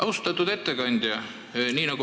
Austatud ettekandja!